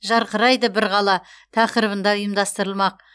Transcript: жарқырайды бір қала тақырыбында ұйымдастырылмақ